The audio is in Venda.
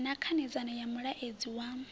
ya khanedzano ya mulaedza wa